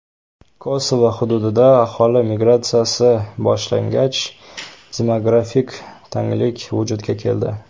Kosovo hududida aholi migratsiyasi boshlangach, demografik tanglik vujudga keldi.